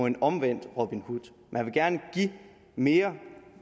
en omvendt robin hood man vil gerne give mere